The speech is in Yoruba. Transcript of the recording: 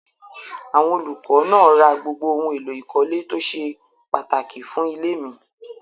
Àwọn olùkọ́ náà ra gbogbo ohun-èlò ìkọ́lé tó ṣe pàtàkì fún ilé mi.